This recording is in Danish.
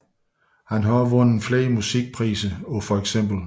Han har også vundet flere musikpriser på feks